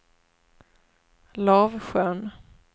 Lavsjön